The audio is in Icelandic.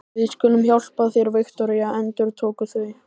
Við skulum hjálpa þér, Viktoría, endurtóku þau.